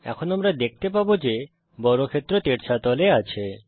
এখন আমরা দেখতে পাবো যে বর্গক্ষেত্র তেড়ছা তলে আছে